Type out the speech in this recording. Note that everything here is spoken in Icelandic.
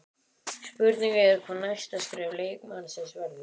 Spurning er hvað næsta skref leikmannsins verður?